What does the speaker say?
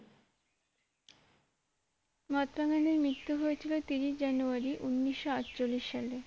মহাত্মা গান্ধীর মৃত্যু হয়েছিল তিরিশ জানুয়ারি উন্নিশো আটচল্লিশ সালে